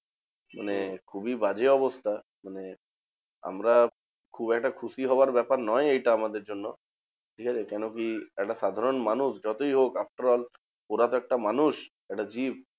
মানে খুবই বাজে অবস্থা। মানে আমরা খুব একটা খুশি হবার ব্যাপার নয় এটা আমাদের জন্য, ঠিকাছে? কেন কি? একটা সাধারণ মানুষ যতই হোক after all ওরা তো একটা মানুষ, একটা জীব।